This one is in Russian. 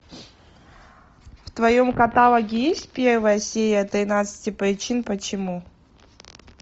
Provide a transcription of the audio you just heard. в твоем каталоге есть первая серия тринадцати причин почему